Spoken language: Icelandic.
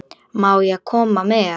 Má ég koma með?